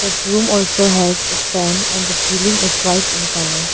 The room also has a fan and the ceiling is white in colour.